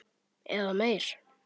Eða meir.